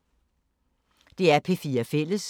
DR P4 Fælles